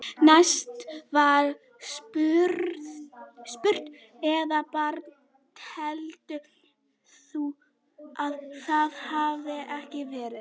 Næst var spurt: Eða bara telur þú að það hafi ekki verið?